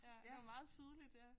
Ja det var meget tydeligt ja